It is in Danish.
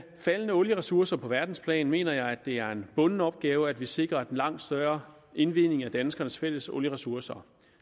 faldende olieressourcer på verdensplan mener jeg at det er en bunden opgave at vi sikrer en langt større indvending af danskernes fælles olieressourcer